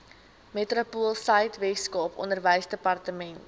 metropoolsuid weskaap onderwysdepartement